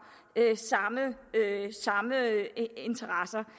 samme interesser